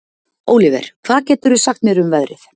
Óliver, hvað geturðu sagt mér um veðrið?